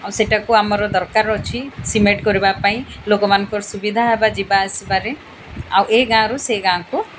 ଆଉ ସେଟା କୁ ଆମର ଦରକାର ଅଛି ସିମେଣ୍ଟ କରିବା ପାଇଁ ଲୋକ ମାନଙ୍କର ସୁବିଧା ହେବା ଯିବା ଆସିବାରେ ଆଉ ଏଇ ଗାଁ ରୁ ସେଇ ଗାଁକୁ।